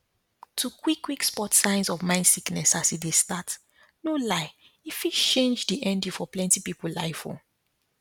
to quickquick spot signs of mind sickness as e dey start no lie e fit change di ending for plenty pipul life o